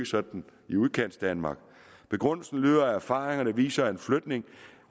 sådan i udkantsdanmark begrundelsen lyder at erfaringerne viser at en flytning